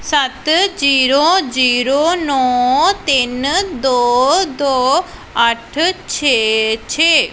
ਸੱਤ zero zero ਨੌ ਤਿੰਨ ਦੋ ਦੋ ਅੱਠ ਛੇ ਛੇ।